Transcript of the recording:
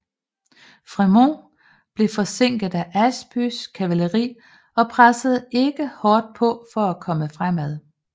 Frémont blev forsinket af Ashbys kavaleri og pressede ikke hårdt på for at komme fremad